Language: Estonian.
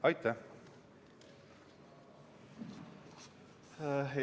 Aitäh!